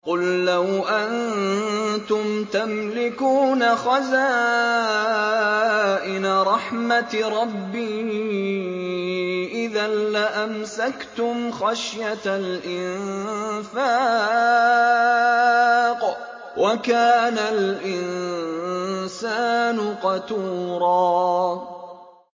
قُل لَّوْ أَنتُمْ تَمْلِكُونَ خَزَائِنَ رَحْمَةِ رَبِّي إِذًا لَّأَمْسَكْتُمْ خَشْيَةَ الْإِنفَاقِ ۚ وَكَانَ الْإِنسَانُ قَتُورًا